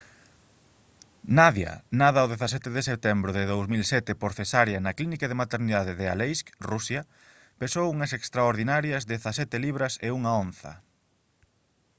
nadia nada o 17 de setembro de 2007 por cesárea na clínica de maternidade de aleisk rusia pesou unhas extraordinarias 17 libras e 1 onza